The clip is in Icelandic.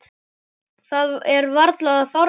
Það er varla þornað.